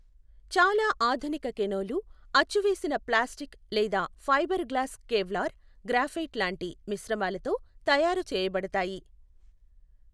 చాలా ఆధునిక కేనోలు అచ్చూవేసిన ప్లాస్టిక్ లేదా ఫైబర్ గ్లాస్ కేవ్లార్, గ్రాఫైట్ లాంటి మిశ్రమాలతో తయారు చేయబడతాయి.